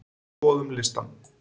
Skoðum listann!